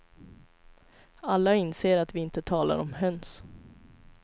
Alla inser att vi inte talar om höns.